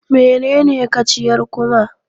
Menene kaciyar kuma?